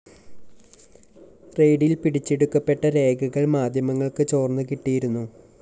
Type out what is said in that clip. റെയ്ഡില്‍ പിടിച്ചെടുക്കപ്പെട്ട രേഖകള്‍ മാധ്യമങ്ങള്‍ക്ക് ചോര്‍ന്ന് കിട്ടിയിരുന്നു